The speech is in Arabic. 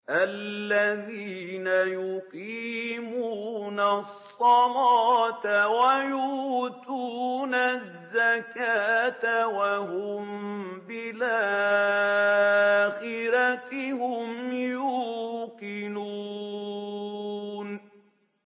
الَّذِينَ يُقِيمُونَ الصَّلَاةَ وَيُؤْتُونَ الزَّكَاةَ وَهُم بِالْآخِرَةِ هُمْ يُوقِنُونَ